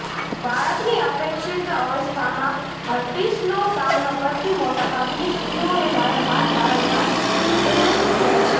બાળકની અપેક્ષિત અવસ્થામાં હર્પીસનો સામનો કરતી મોટાભાગની સ્ત્રીઓએ વારંવાર વારંવાર તેનાથી પીડાય છે